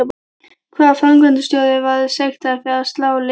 Hvaða framkvæmdarstjóri var sektaður fyrir að slá leikmann sinn?